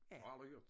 Har aldrig hørt